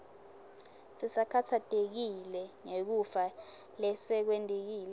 sisakhatsatekile ngekufa lesekwentekile